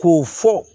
K'u fɔ